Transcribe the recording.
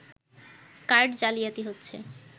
card জালিয়াতি হচ্ছে